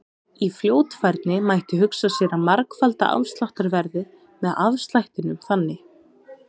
Í fljótfærni mætti hugsa sér að margfalda afsláttarverðið með afslættinum þannig: